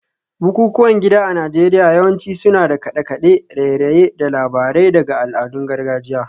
Bukukuwan gida a Najeriya yawanci suna da kade-kade, raye-raye, da labarai daga al'adun gargajiya